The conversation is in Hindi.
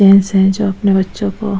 जेन्ट्स है जो अपने बच्चों को --